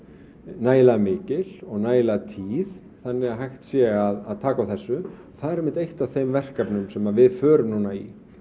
nægilega mikil og nægilega tíð þannig að hægt sé að taka á þessu það er einmitt eitt af þeim verkefnum sem við förum núna í